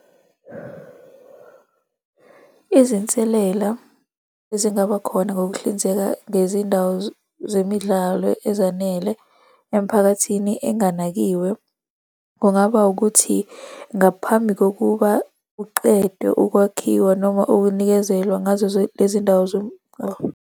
Izinselela ezingaba khona ngokuhlinzeka ngezindawo zemidlalo ezanele emiphakathi enganakiwe, kungaba ukuthi ngaphambi kokuba kuqedwe ukwakhiwa noma ukunikezelwa ngazo lezi ndawo .